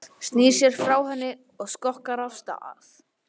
Snýr sér frá henni og skokkar af stað.